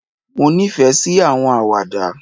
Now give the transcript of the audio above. Mo ní ìfẹ sí àwọn Àwàdà